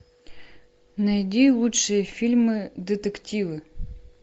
найди лучшие фильмы детективы